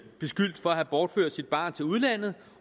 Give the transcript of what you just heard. beskyldt for at have bortført sit barn til udlandet